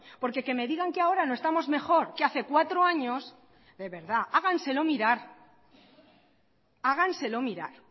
porque que me digan que ahora no estamos mejor que hace cuatro años de verdad háganselo mirar háganselo mirar